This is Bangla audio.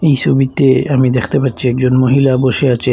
এই সবিতে আমি দেখতে পাচ্ছি একজন মহিলা বসে আছেন।